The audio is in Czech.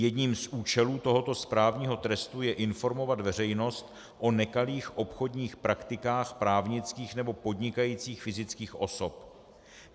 Jedním z účelů tohoto správního trestu je informovat veřejnost o nekalých obchodních praktikách právnických nebo podnikajících fyzických osob.